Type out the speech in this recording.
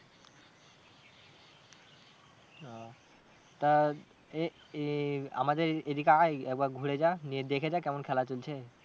ও তা এ এ আমাদের এদিকে আয় একবার ঘুরে যা নিয়ে দেখে যা কেমন খেলা চলছে।